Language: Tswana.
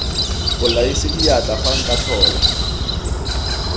bolaisa diatla fa nka tlhola